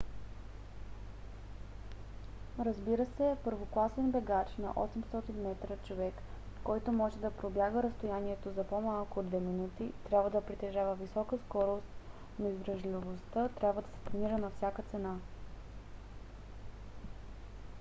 разбира се първокласен бегач на 800 метра човек който може да пробяга разстоянието за по-малко от две минути трябва да притежава висока скорост но издръжливостта трябва да се тренира на всяка цена